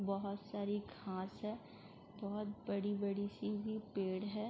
बोहोत सारी घास हैं। बोहोत बड़ी-बड़ी सी पेड़ हैं।